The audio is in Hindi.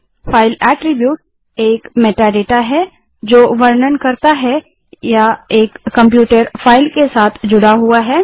000025 000023 फ़ाइल अट्रिब्यूट एक मेटाडाटा मेटाडेटा है जो वर्णन करता है या एक कंप्यूटर फाइल के साथ जुड़ा हुआ है